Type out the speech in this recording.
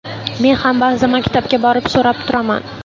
Men ham ba’zida maktabga borib so‘rab turaman.